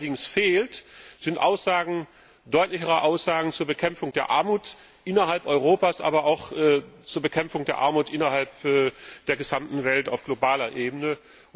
Was mir allerdings fehlt, sind deutlichere Aussagen zur Bekämpfung der Armut innerhalb Europas, aber auch zur Bekämpfung der Armut in der gesamten Welt, auf globaler Ebene.